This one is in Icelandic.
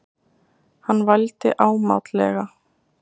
Hann vældi ámátlega.